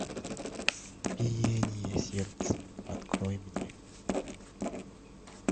биение сердца открой мне